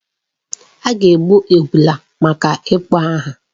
A ga-egbu ebulu maka ịkpọ aha.